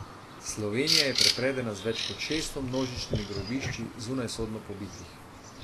Slovenija je prepredena z več kot šeststo množičnimi grobišči zunajsodno pobitih.